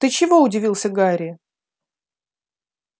ты чего удивился гарри